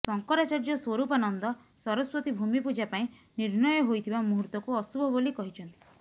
ଶଙ୍କରାଚାର୍ଯ୍ୟ ସ୍ୱରୂପାନନ୍ଦ ସରସ୍ୱତୀ ଭୂମିପୂଜା ପାଇଁ ନିର୍ଣ୍ଣୟ ହୋଇଥିବା ମୁହୂର୍ତ୍ତକୁ ଅଶୁଭ ବୋଲି କହିଛନ୍ତି